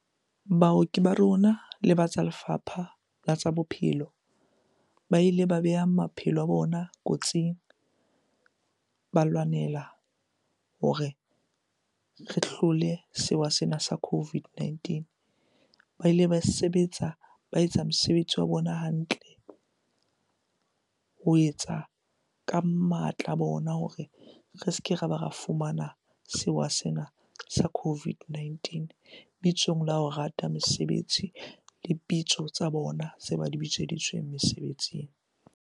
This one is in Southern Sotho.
"Ona a ne a thefula maikutlo."